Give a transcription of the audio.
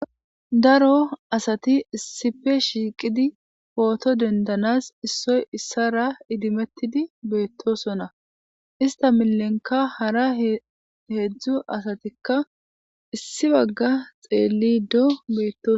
Daro asati issife shiiqidi pooto dendanas issoy issara idimettidi beettosona ista milenka hara heedzdzu asatikka issi bagga xeellido beeto